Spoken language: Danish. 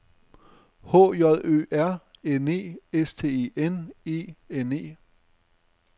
H J Ø R N E S T E N E N E